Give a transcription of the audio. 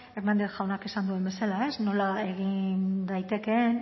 hernández jaunak esan duen bezala ez nola daitekeen